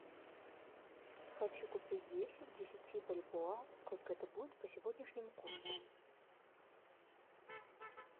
хочу купить десять десяти бальбоа сколько это будет по сегодняшнему курсу